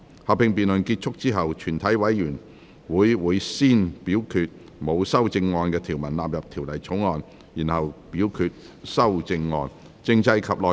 合併辯論結束後，全體委員會會先表決沒有修正案的條文納入《條例草案》，然後表決修正案。